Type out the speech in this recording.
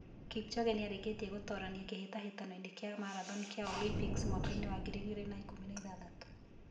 Kipchoge nĩ arĩkĩtie gũtoorania kĩhĩtahĩtano-inĩ kĩa marathon kĩa Olympics mwaka wa 2016.